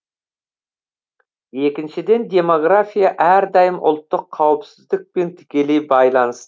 екіншіден демография әрдайым ұлттық қауіпсіздікпен тікелей байланысты